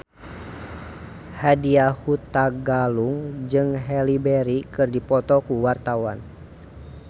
Nadya Hutagalung jeung Halle Berry keur dipoto ku wartawan